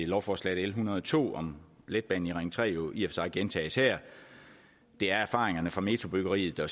lovforslag l en hundrede og to om letbanen i ring tre jo i og sig gentages her det er erfaringerne fra metrobyggeriet der